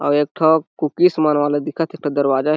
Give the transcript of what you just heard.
अउ एक ठो दरवाज़ा हे।